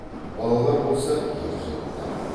балалар болса ержетті